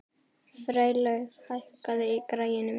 Freylaug, hækkaðu í græjunum.